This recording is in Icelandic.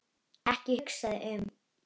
Ekki hugsa þig um.